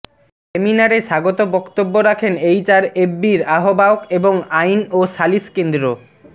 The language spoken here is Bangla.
সেমিনারে স্বাগত বক্তব্য রাখেন এইচআরএফবির আহবায়ক এবং আইন ও সালিশ কেন্দ্র